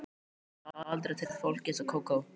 Það á aldrei að treysta fólki eins og Kókó.